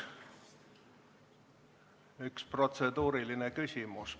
Üks protseduuriline küsimus.